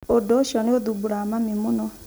Ũndũ ũcio nĩ ũthumbũraga mami mũno.